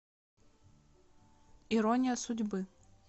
ирония судьбы